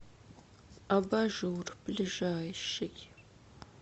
абажур ближайший